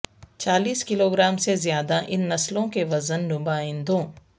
چالیس kilogram سے زیادہ ان نسلوں کے وزن نمائندوں